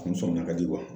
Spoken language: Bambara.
A ni sɔmina ka di